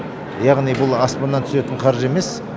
яғни бұл аспаннан түсетін қаржы емес